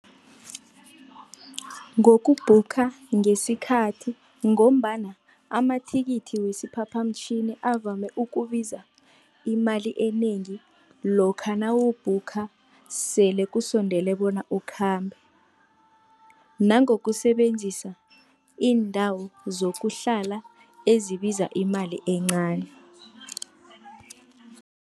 Ngoku-booker ngesikhathi, ngombana amathikithi wesiphaphamtjhini avame ukubiza imali enengi, lokha nawu-booker sele kusondele bona ukhambe. Nangokusebenzisa iindawo zokuhlala ezibiza imali encani.